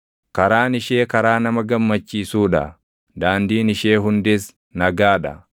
Karaan ishee karaa nama gammachiisuu dha; daandiin ishee hundis nagaa dha.